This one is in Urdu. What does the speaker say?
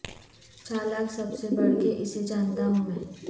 چالاک سب سے بڑھ کے اسے جانتا ہوں میں